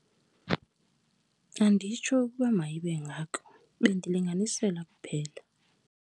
Anditsho ukuba mayibe ngako, bendilinganisela kuphela.